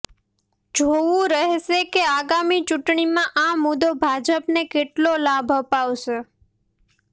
જોવું રહેશે કે આગામી ચૂંટણીમાં આ મુદ્દો ભાજપને કેટલો લાભ અપાવશે